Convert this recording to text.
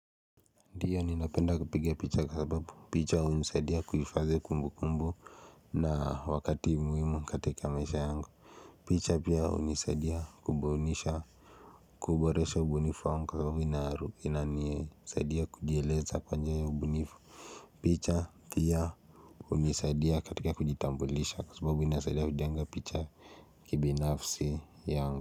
Ndiyo ninapenda kupiga picha kwa sababu picha hunisadia kuhifadhi kumbukumbu na wakati muhimu katika maisha yangu picha pia hunisaidia kubunisha kuboresha ubunifo angalau inanisaidia kujieleza pamoja na ubunifu picha pia hunisadia katika kujitambulisha kwa sababu inasadia kujenga picha kibinafsi yangu.